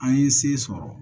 An ye se sɔrɔ